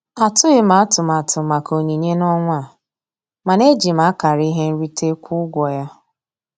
Atụghị m atụmatụ maka onyinye n'ọnwa a, mana eji m akara ihe nrite kwụọ ụgwọ ya.